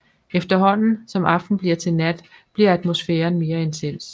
Efterhånden som aften bliver til nat bliver atmosfæren mere intens